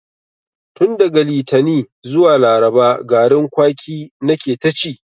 Tun daga litani zuwa laraba garin kwaki na ke ta ci